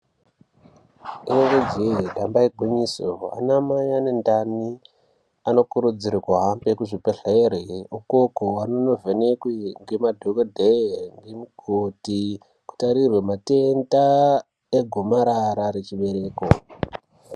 Rinenge je damba igwinyiso ana mai ane ndani Anokurudzirwa kuhambe kuzvibhedhlera ikoko vanenge vachivhenekwa nemadhokodheya nana mukoti kutarirwa matenda egomarara rechibereko.